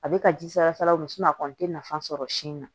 A bɛ ka ji salasalaw a kɔni tɛ nafa sɔrɔ sin na